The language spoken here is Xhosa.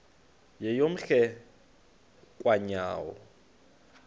yeyom hle kanyawo